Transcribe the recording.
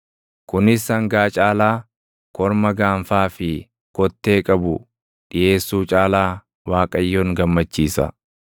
Kunis sangaa caalaa, korma gaanfaa fi kottee qabu dhiʼeessuu caalaa Waaqayyoon gammachiisa.